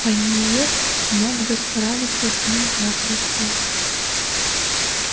пониетс мог бы справиться с ними запросто